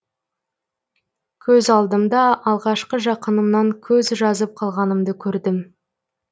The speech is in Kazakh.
көз алдымда алғашқы жақынымнан көз жазып қалғанымды көрдім